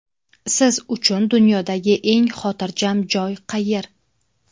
Siz uchun dunyodagi eng xotirjam joy qayer?